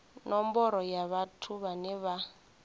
nomboro ya vhathu vhane vha